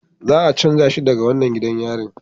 Za a canja shi daga wannan gidan yarin